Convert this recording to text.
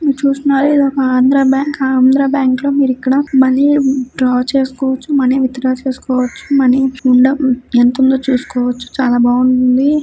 చూస్తున్నట్లయితే ఒకఆంధ్ర బ్యాంక్ ఆంధ్ర బ్యాంకులో వరకు మనీ డ్రా చేసుకోవచ్చు. మనీ విత్ డ్రా చేసుకోవచ్చు. మనీ ఉందా ఎంతుందో చూసుకోవచ్చు. .